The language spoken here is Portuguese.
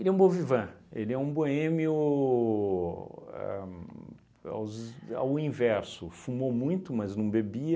é um bon vivant, ele é um boêmio ahn aos ao inverso, fumou muito, mas não bebia,